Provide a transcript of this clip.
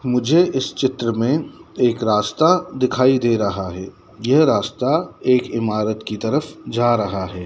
मुझे इस चित्र में एक रास्ता दिखाई दे रहा है यह रास्ता एक इमारत की तरफ जा रहा है।